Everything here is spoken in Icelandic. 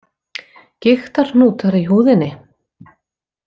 Gigtarhnútar í húðinni.